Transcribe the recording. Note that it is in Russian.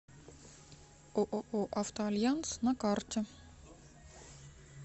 ооо автоальянс на карте